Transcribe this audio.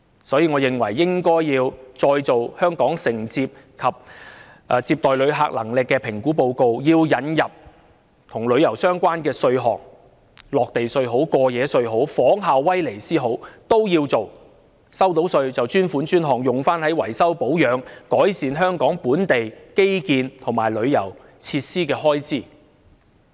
所以，我認為應該要再做《香港承受及接待旅客能力評估報告》，並要引入與旅遊相關的稅項，"落地稅"或"過夜稅"也好，又或者仿效威尼斯的做法，收到的稅款屬於專款專項，用於維修、保養、改善香港本地基建及旅遊設施的開支。